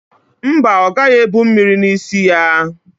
Mba, ọ gaghị ebu mmiri n'isi ya.